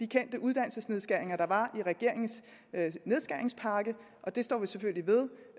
kendte uddannelsesnedskæringer der var i regeringens nedskæringspakke og det står vi selvfølgelig ved